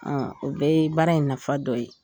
O bɛɛ ye baara in nafa dɔ ye